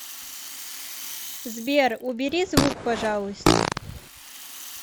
сбер убери звук пожалуйста